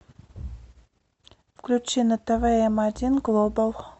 включи на тв м один глобал